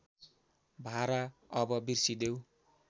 भारा अब बिर्सिदेऊ